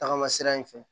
Tagama sira in fɛ